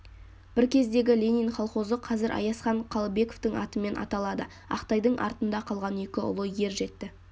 бір кездегі ленин колхозы қазір аязхан қалыбековтың атымен аталады ақтайдың артында қалған екі ұлы ер жетті